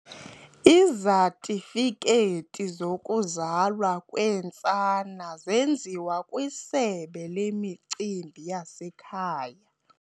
Izatifikethi zokuzalwa kweentsana zenziwa kwisebe lemicimbi yasekhaya.